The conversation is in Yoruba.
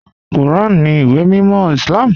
Kúràn ní ìwé mímọ̀ Islám.